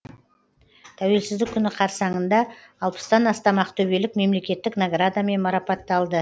тәуелсіздік күні қарсаңында алпыстан астам ақтөбелік мемлекеттік наградамен марапатталды